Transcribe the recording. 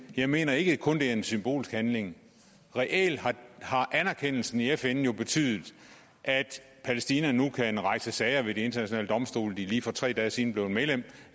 jeg mener ikke det kun er en symbolsk handling reelt har anerkendelsen i fn jo betydet at palæstina nu kan rejse sager ved de internationale domstole de er lige for tre dage siden blevet medlem